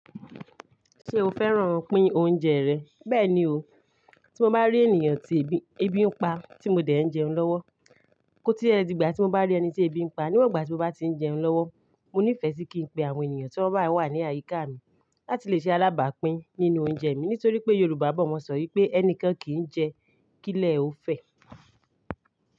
Ṣé o fẹ́ràn pin oúnjẹ rẹ? Bẹ́ẹ̀ ni o, tí mo bá rí ènìyàn tí ebi ń pa tí mo dẹ̀ ń jẹun lọ́wọ́. Kó tí ẹ dìgbà tí mo bá rí ẹni tí ebi ń pa níwọ̀n ìgbà tí mo bá tí ń jẹun lọ́wọ́, mo ní ìfẹ́ sí kí n pe àwọn ènìyàn tí wọ́n bá wà ní àyíká mi láti lè ṣe alábàpín nínú oúnjẹ mi nítorí pé Yorùbá bọ̀ wọ́n sọ wípé "Ẹnikẹ́ni kì í jẹ k'ilẹ̀ ó fẹ́".